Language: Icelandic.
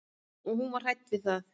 Og hún var hrædd við það.